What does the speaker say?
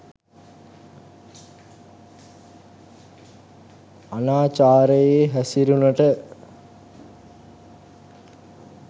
අනාචාරයේ හැසිරුනට